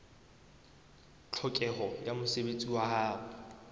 tlhokeho ya mosebetsi wa ho